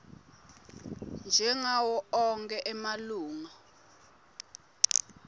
njengawo onkhe emalunga